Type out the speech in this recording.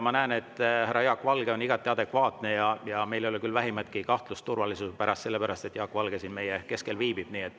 Ma näen, et härra Jaak Valge on igati adekvaatne, ja meil ei ole selle pärast küll vähimatki kahtlust turvalisuse suhtes, kuna Jaak Valge siin meie keskel viibib.